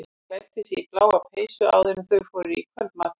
Hann klæddi sig í bláa peysu áður en þau fóru niður í kvöldmat.